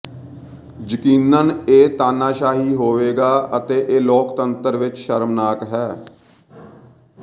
ਯਕੀਨਨ ਇਹ ਤਾਨਾਸ਼ਾਹੀ ਹੋਵੇਗਾ ਅਤੇ ਇਹ ਲੋਕਤੰਤਰ ਵਿਚ ਸ਼ਰਮਨਾਕ ਹੈ